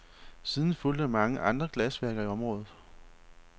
Siden fulgte mange andre glasværker i området.